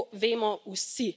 To vemo vsi.